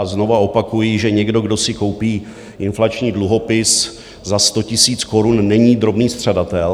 A znovu opakuji, že někdo, kdo si koupí inflační dluhopis za 100 tisíc korun, není drobný střadatel.